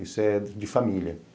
Isso é de família.